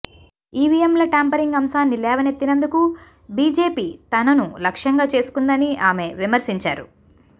ఈవిఎంల tampering అంశాన్ని లేవనెత్తినందుకు BJP తనను లక్ష్యంగా చేసుకుందని ఆమె విమర్శించారు